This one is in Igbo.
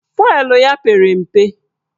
Fụelụ ya pere mpe